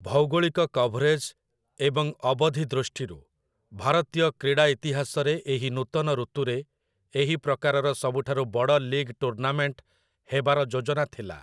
ଭୌଗୋଳିକ କଭରେଜ୍ ଏବଂ ଅବଧି ଦୃଷ୍ଟିରୁ, ଭାରତୀୟ କ୍ରୀଡ଼ା ଇତିହାସରେ ଏହି ନୂତନ ଋତୁରେ ଏହି ପ୍ରକାରର ସବୁଠାରୁ ବଡ଼ ଲିଗ୍ ଟୁର୍ନାମେଣ୍ଟ ହେବାର ଯୋଜନା ଥିଲା ।